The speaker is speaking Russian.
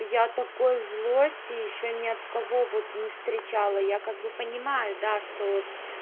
я такой злости ещё не от кого вот не встречала я как бы понимаю да что